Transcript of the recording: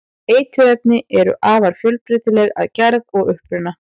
eiturefni eru afar fjölbreytileg að gerð og uppruna